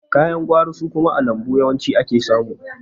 Ka yan gwari su kuma a lambu yawanci ake samu.